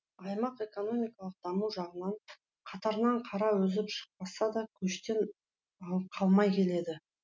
аймақ экономикалық даму жағынан қатарынан қара үзіп шықпаса да көштен қалмай келеді